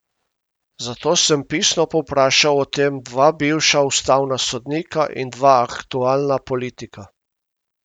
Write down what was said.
Zato sem pisno povprašal o tem dva bivša ustavna sodnika in dva aktualna politika.